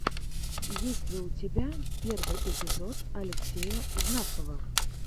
есть ли у тебя первый эпизод алексея знакова